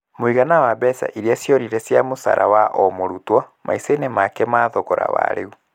Mũigana wa mbeca irĩa ciorire cia mũcara wa o mũrutwo maica-inĩ make na thogora wa rĩu